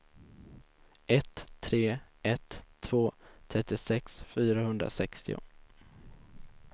ett tre ett två trettiosex fyrahundrasextio